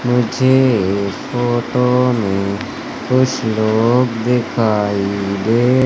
मुझे फोटो में कुछ लोग दिखाई दे--